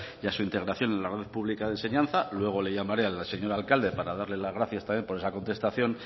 y a su integración en la red pública de enseñanza luego le llamaré al señor alcalde para darle las gracias también por esa contestación